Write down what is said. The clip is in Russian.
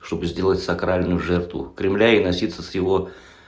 чтобы сделать сакральную жертву кремля и носиться с его